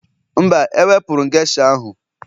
Mba, ewepụrụ m geisha ahụ